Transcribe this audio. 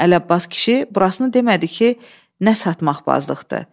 Amma Ələbbas kişi burasını demədi ki, nə satmaq bazlıqdır.